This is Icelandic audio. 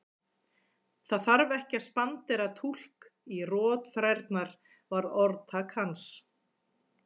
Það þarf ekki að spandera túlk á rotþrærnar var orðtak hans.